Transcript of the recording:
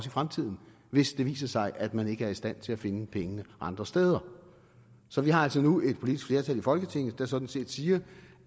i fremtiden hvis det viser sig at man ikke er i stand til at finde pengene andre steder så vi har altså nu et politisk flertal i folketinget der sådan set siger